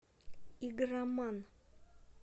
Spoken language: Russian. игроман